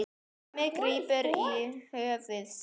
Hemmi grípur um höfuð sér.